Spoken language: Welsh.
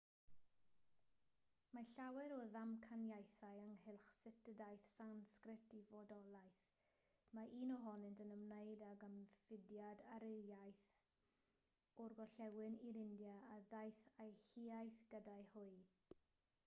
mae llawer o ddamcaniaethau ynghylch sut y daeth sansgrit i fodolaeth mae un ohonynt yn ymwneud ag ymfudiad aryaidd o'r gorllewin i'r india a ddaeth â'u hiaith gyda hwy